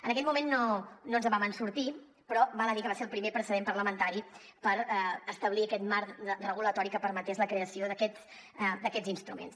en aquell moment no ens en vam sortir però val a dir que va ser el primer precedent parlamentari per establir aquest marc regulatori que permetés la creació d’aquests instruments